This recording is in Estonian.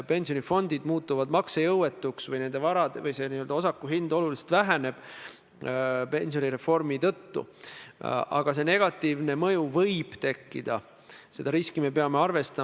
Ma annan teile nüüd võimaluse siit auväärt Riigikogu puldist öelda, et te mõistate oma kolleegi, maaeluministri käitumise nende konkreetsete piltide osas hukka ja palute tal okupatsiooniaegsete juhtide, ministrite pildid maha võtta.